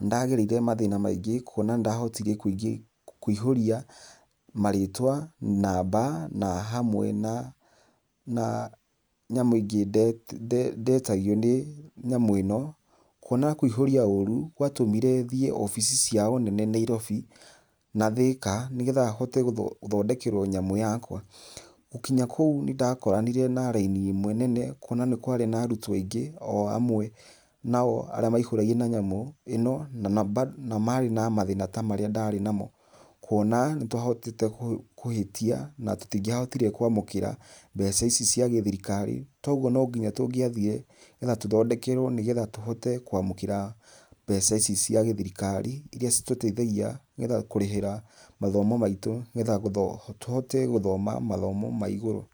nĩndagereire mathina maingĩ kuona nĩndahotire kũingĩ, kũihuria marĩtwa, namba na hamwe na na nyamũ ingĩ nde ndetagio nĩ nyamũ ĩno, kuona kũihũria ũrũ gwatũmire thiĩ obici ciao nene nairobi na thĩka, nĩgetha hote gũthondekerwo nyamũ yakwa , gũkinya kũu nĩndakoranire na raini ĩmwe nene, kuona nĩ kwarĩ na arutwo aingĩ o amwe nao arĩa maihuragia na nyamũ ĩno na bado marĩ na mathĩna marĩa ndarĩnamo , kuona nĩtwahotete kũhĩtia na tũtigia hotire kwa mũkĩra mbeca ici ica gĩthirikari, kugwo no nginya tũngĩathire nĩgetha tũthondekerwo ,nĩgetha tũhote kwamũkĩra mbeca ici cia gĩthirikari, iria citũteithagia nĩgetha kũrĩhĩra mathomo maitũ, nĩgetha tũhote gũthoma mathomo ma igũrũ.